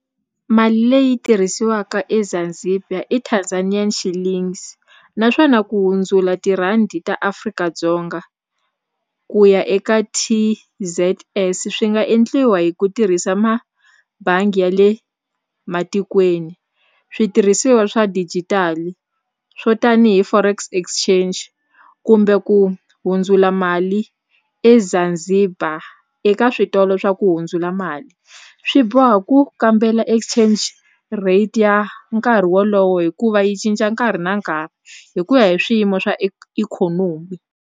Mali leyi tirhisiwaka eZanzibar i Tanzanian Shillings naswona ku hundzula tirhandi ta Afrika-Dzonga ku ya eka T_Z_S swi nga endliwa hi ku tirhisa ma bangi ya le matikweni switirhisiwa swa digital swo tanihi forex exchange kumbe ku hundzula mali eZanzibar eka switolo swa ku hundzula mali swi boha ku kambela exchange rate ya nkarhi wolowo hikuva yi cinca nkarhi na nkarhi hi ku ya hi swiyimo swa ikhonomi.